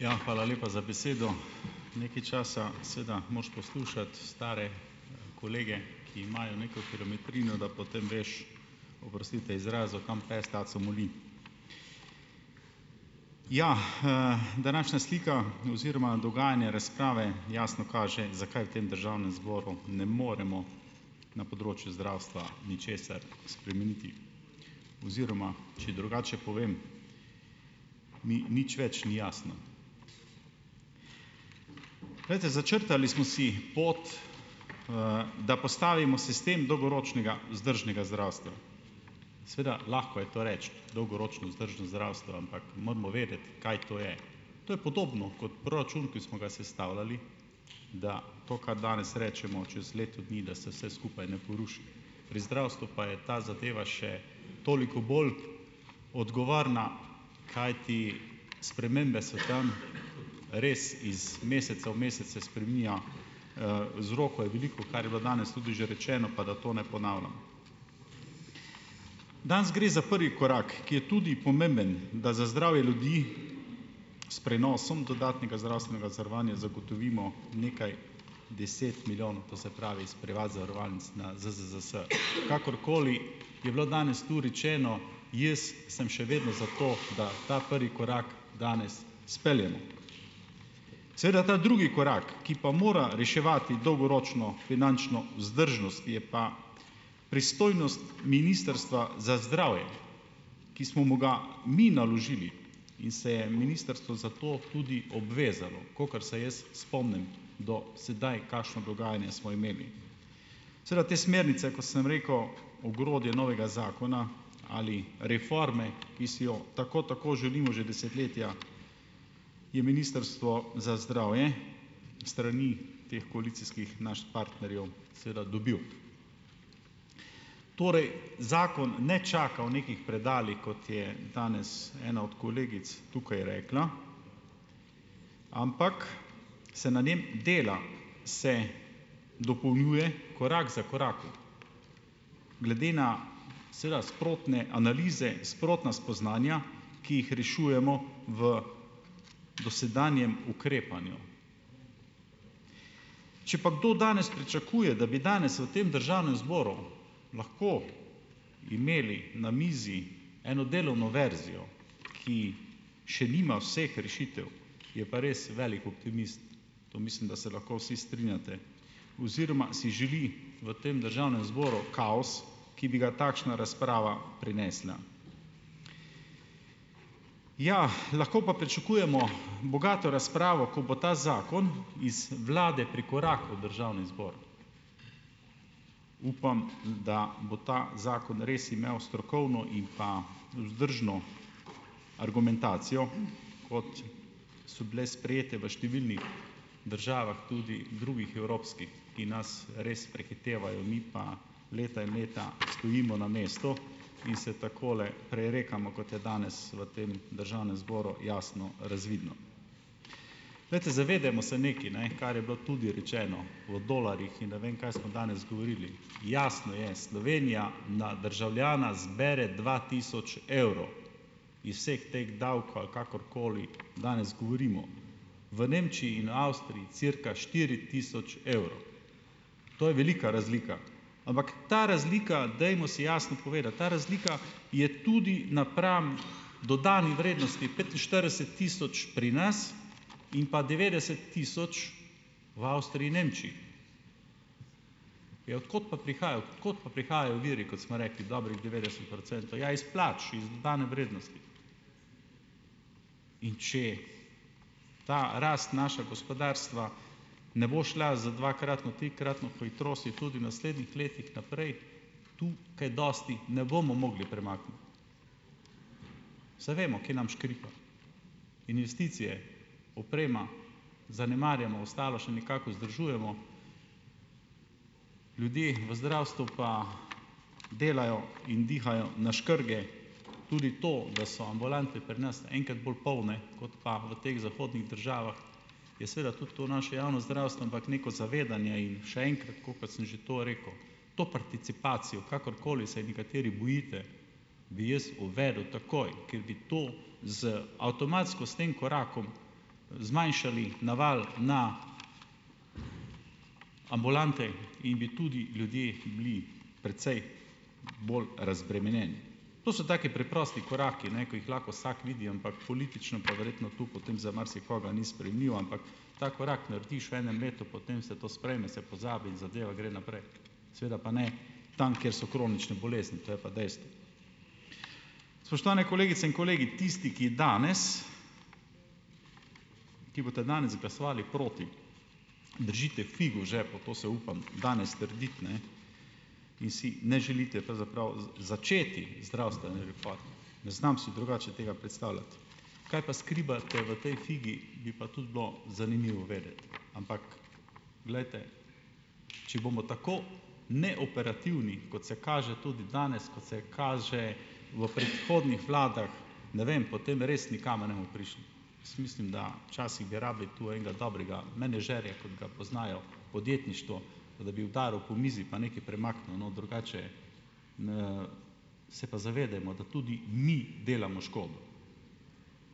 Ja, hvala lepa za besedo. Nekaj časa seveda moraš poslušati stare kolege, ki imajo neko kilometrino, da potem veš, oprostite izrazu, kam pes taco moli. Ja, današnja slika oziroma dogajanje razprave jasno kaže, zakaj v tem državnem zboru ne moremo na področju zdravstva ničesar spremeniti oziroma, če drugače povem, mi nič več ni jasno. Glejte, začrtali smo si pot, da postavimo sistem dolgoročnega vzdržnega zdravstva. Seveda lahko je to reči, dolgoročno vzdržno zdravstvo, ampak moramo vedeti, kaj to je. To je podobno kot proračun, ki smo ga sestavljali, da to, kar danes rečemo, čez leto dni, da se vse skupaj ne poruši. Pri zdravstvu pa je ta zadeva še toliko bolj odgovorna, kajti spremembe so tam res, iz meseca v mesec se spreminja, vzrokov je veliko, kar je bilo danes tudi že rečeno, pa da to ne ponavljam. Danes gre za prvi korak, ki je tudi pomemben, da za zdravje ljudi s prenosom dodatnega zdravstvenega zavarovanja zagotovimo nekaj deset milijonov, to se pravi, s privat zavarovalnic na ZZZS. Kakorkoli je bilo danes tu rečeno, jaz sem še vedno za to, da ta prvi korak danes izpeljemo. Seveda ta drugi korak, ki pa mora reševati dolgoročno finančno vzdržnost, je pa pristojnost Ministrstva za zdravje, ki smo mu ga mi naložili in se je ministrstvo za to tudi obvezalo, kakor se jaz spomnim do sedaj, kakšno dogajanje smo imeli. Seveda te smernice, kot sem rekel, ogrodje novega zakona ali reforme, ki si jo tako, tako želimo že desetletja, je ministrstvo za zdravje strani teh koalicijskih nas partnerjev seveda dobilo. Torej zakon ne čaka v nekih predalih, kot je danes ena od kolegic tukaj rekla, ampak se na njem dela, se dopolnjuje korak za korakom, glede na seveda sprotne analize, sprotna spoznanja, ki jih rešujemo v dosedanjem ukrepanju. Če pa kdo danes pričakuje, da bi danes v tem državnem zboru lahko imeli na mizi eno delovno verzijo, ki še nima vseh rešitev, je pa res velik optimist, to mislim, da se lahko vsi strinjate oziroma si želi v tem državnem zboru kaos, ki bi ga takšna razprava prinesla. Ja, lahko pa pričakujemo bogato razpravo, ko bo ta zakon iz vlade prikorakal v državni zbor. Upam, da bo ta zakon res imel strokovno in pa vzdržno argumentacijo, kot so bile sprejete v številnih državah, tudi drugih evropskih, ki nas res prehitevajo, mi pa leta in leta stojimo na mestu in se takole prerekamo, kot je danes v tem državnem zboru jasno razvidno. Glejte, zavedajmo se nekaj, ne, kar je bilo tudi rečeno o dolarjih in ne vem kaj smo danes govorili, jasno je, Slovenija na državljana zbere dva tisoč evrov, iz vseh teh davkov ali kakorkoli danes govorimo, v Nemčiji in Avstriji cirka štiri tisoč evrov, to je velika razlika. Ampak ta razlika, dajmo si jasno povedati, ta razlika je tudi napram dodani vrednosti petinštirideset tisoč pri nas in pa devetdeset tisoč v Avstriji in Nemčiji. Ja, od kod pa prihaja? Od kod pa prihajajo viri, kot smo rekli, dobrih devetdeset procentov? Ja, iz plač, iz dodane vrednosti. In če ta rast našega gospodarstva ne bo šla z dvakratno, trikratno hitrostjo tudi v naslednjih letih naprej, tu kaj dosti ne bomo mogli premakniti. Saj vemo, kje nam škripa, investicije, oprema, zanemarjamo, ostalo še nekako vzdržujemo, ljudje v zdravstvu pa delajo in dihajo na škrge. Tudi to, da so ambulante pri nas enkrat bolj polne kot pa v teh zahodnih državah, je seveda tudi to naše javno zdravstvo, ampak neko zavedanje in še enkrat, tako kot sem že to rekel, to participacijo, kakorkoli se je nekateri bojite, bi jaz uvedel takoj, ker bi to z avtomatsko s tem korakom zmanjšali naval na ambulante in bi tudi ljudje bili precej bolj razbremenjeni. To so taki preprosti koraki, ne, ko jih lahko vsak vidi, ampak politično pa verjetno tu potem za marsikoga ni sprejemljivo. Ampak ta korak narediš v enem letu, potem se to sprejme, se pozabi in zadeva gre naprej; seveda pa ne tam, kjer so kronične bolezni, to je pa dejstvo. Spoštovane kolegice in kolegi, tisti, ki danes ki boste danes glasovali proti, držite figo v žepu, to se upam danes trditi, ne, in si ne želite pravzaprav začeti zdravstvene reforme, ne znam si drugače tega predstavljati. Kaj pa skrivate v tej figi, bi pa tudi bilo zanimivo vedeti. Ampak, glejte, če bomo tako neoperativni, kot se kaže tudi danes, kot se kaže v predhodnih vladah, ne vem, potem res nikamor ne bomo prišli. Jaz mislim, da včasih bi rabili tu enega dobrega menedžerja, kot ga poznajo v podjetništvu, pa da bi udaril po mizi pa nekaj premaknil na drugače. Se pa zavedajmo, da tudi mi delamo škodo;